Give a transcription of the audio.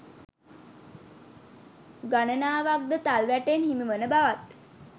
ගණනාවක්ද තල් වැටෙන් හිමිවන බවත්